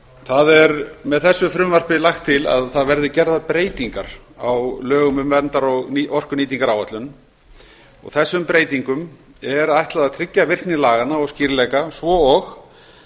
það er með þessu frumvarpi lagt til að gerðar verði breytingar á lögum um verndar og orkunýtingaráætlun og þessum breytingum er ætlað að tryggja virkni laganna og skýrleika svo og